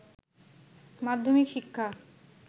মাধ্যমিক শিক্ষা